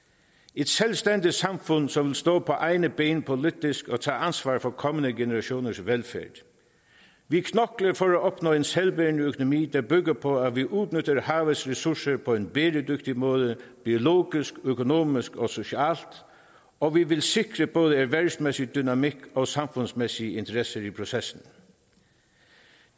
et selvstændigt samfund som vil stå på egne ben politisk og tage ansvar for kommende generationers velfærd vi knokler for at opnå en selvbærende økonomi der bygger på at vi udnytter havets ressourcer på en bæredygtig måde biologisk økonomisk og socialt og vi vil sikre både erhvervsmæssig dynamik og samfundsmæssige interesser i processen